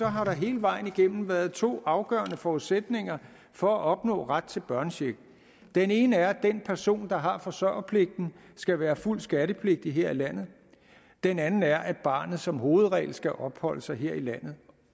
har der hele vejen igennem været to afgørende forudsætninger for at opnå ret til børnecheck den ene er at den person der har forsørgerpligten skal være fuldt skattepligtig her i landet den anden er at barnet som hovedregel skal opholde sig her i landet